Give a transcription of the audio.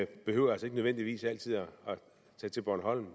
behøver altså ikke nødvendigvis altid at tage til bornholm